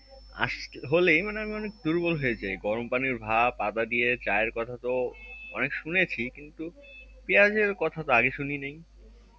আস~ হলেই মানে আমি অনেক দুর্বল হয়ে যাই গরম পানির ভাপ আদা দিয়ে চায়ের কথা তো অনেক শুনেছি কিন্তু পেঁয়াজ এর কথা তো আগে শুনিনাই